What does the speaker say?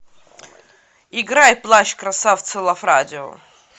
играй плащ красавцы лав радио